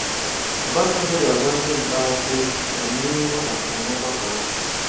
Obasanjo ga-agwa ndị ntaakụkọ okwu banyere ihe ha kpatara n'ọgbakọ ahụ.